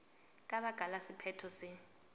ka baka la sephetho se